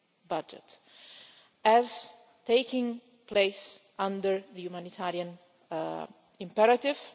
budget, as taking place under the humanitarian imperative.